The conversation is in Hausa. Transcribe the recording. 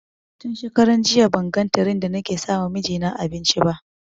Tun shekaran jiya ban ga tiren da ni ke sama mijina abinci ba